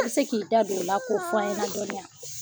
I tɛ se k'i da don o la k'o fɔ an ɲɛna dɔnni wa?